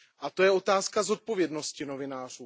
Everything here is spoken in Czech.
A to je otázka zodpovědnosti novinářů.